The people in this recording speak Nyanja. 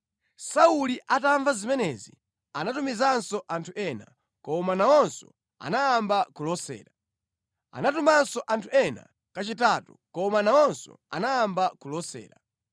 Sauli atamva zimenezi anatumizanso anthu ena, koma nawonso anayamba kulosa. Anatumanso anthu ena kachitatu, koma nawonso anayamba kulosa.